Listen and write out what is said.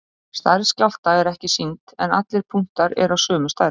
stærð skjálfta er ekki sýnd en allir punktar eru af sömu stærð